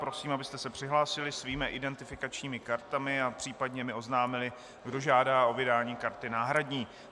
Prosím, abyste se přihlásili svými identifikačními kartami a případně mi oznámili, kdo žádá o vydání karty náhradní.